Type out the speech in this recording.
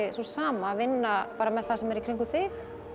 sú sama að vinna með það sem er í kringum þig